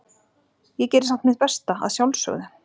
Ég geri samt mitt besta, að sjálfsögðu.